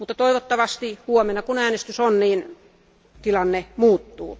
Mutta toivottavasti huomenna, kun äänestys on, tilanne muuttuu.